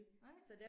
Nej